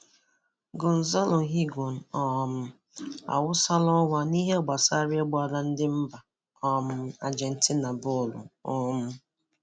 Gonzalo Higuain um awụsala ọwa n'ihe gbasara ịgbara ndị mba um Ajentina bọolụ. um